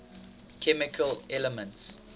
chemical elements